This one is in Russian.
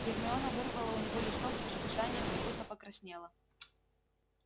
гермиона вырвала у него листок с расписанием и густо покраснела